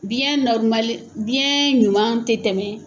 Biɲɛ biɲɛ ɲuman tɛ tɛmɛ.